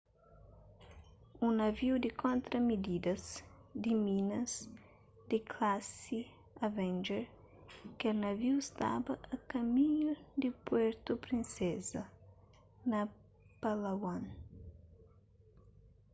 un naviu di kontra-mididas di minas di klasi avenger kel naviu staba a kaminhu di puerto princesa na palawan